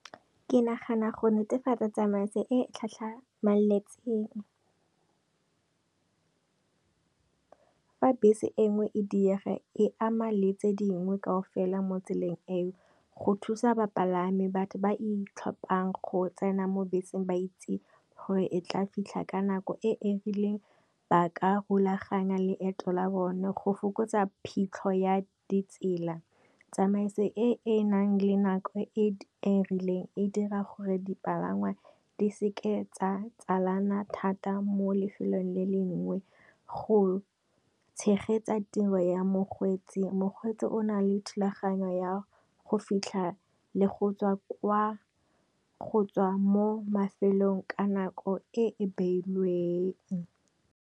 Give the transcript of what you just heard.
Ke nagana go netefatsa tsamaiso e tlhamaletseng. Fa bese e nngwe e diega e ama letse dingwe kao fela mo tseleng eo, go thusa bapalami, batho ba ithaopang go tsena mo beseng ba itseng gore e tla fitlha ka nako e e rileng, ba ka rulaganya leeto la bone go fokotsa phitlho ya di tsela. Tsamaiso e e nang le nako e e rileng e dira gore dipalangwa di seke tsa tsalana thata mo lefelong le lengwe, go tshegetsa tiro ya mokgweetsi, mokgweetsi o na le thulaganyo ya go fitlha le go ttswa mo mafelong ka nako e e beilweng.